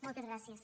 moltes gràcies